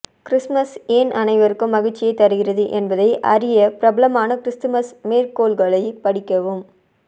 Christmas ஏன் அனைவருக்கும் மகிழ்ச்சியைத் தருகிறது என்பதை அறிய பிரபலமான கிறிஸ்துமஸ் மேற்கோள்களைப் படிக்கவும்